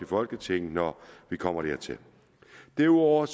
folketinget når vi kommer dertil derudover